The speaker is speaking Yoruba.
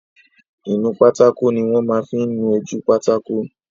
Ìnu pátákó ni wọ́n máa n fí nu ojú pátákó